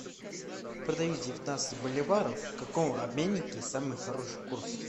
продаю девятнадцать боливаров в каком обменнике самый хороший курс